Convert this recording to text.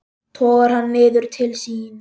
Togar hann niður til sín.